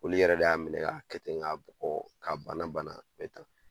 Olu yɛrɛ de y'a minɛ k'a kɛ ten ŋ'a bugɔɔ k'a bana bana k'a kɛ tan.